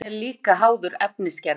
Hraðinn er líka háður efnisgerðinni.